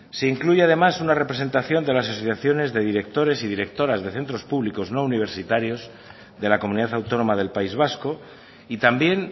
se incluye además una representación de las asociaciones de directores y directoras de centros públicos no universitarios de la comunidad autónoma del país vasco y también